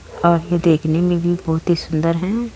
आगे देखने में भी बोहोत ही सुन्दर है।